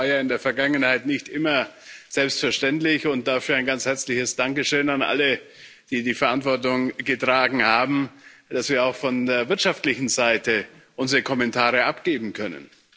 Das war ja in der Vergangenheit nicht immer selbstverständlich, und dafür ein ganz herzliches Dankeschön an alle, die die Verantwortung getragen haben, dass wir auch von der wirtschaftlichen Seite unsere Kommentare abgeben können.